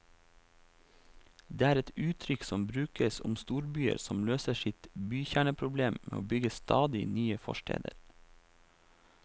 Det er et uttrykk som brukes om storbyer som løser sitt bykjerneproblem med å bygge stadig nye forsteder.